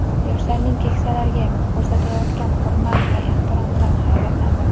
Yoshlarning keksalarga ko‘rsatayotgan hurmat va ehtiromidan hayratlandim.